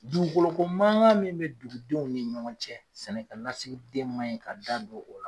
dugukoloko mankan min bɛ dugudenw ni ɲɔgɔn cɛ sɛnɛkɛ lasigiden man ɲi ka da don o la.